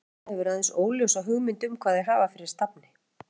Edda hefur aðeins óljósa hugmynd um hvað þau hafa fyrir stafni.